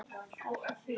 Elsku Fía.